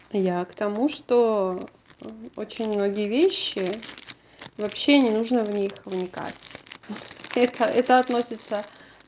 я к тому что очень многие вещи вообще не нужно в них вникать теперь это это относится